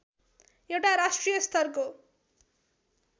एउटा राष्ट्रिय स्तरको